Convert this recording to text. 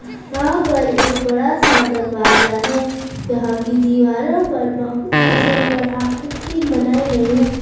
यहाँ पर एक बड़ा सा दरवाजा है यहाँ की दीवारों पर बहुत ही सुंदर आकृति बनाई गई है।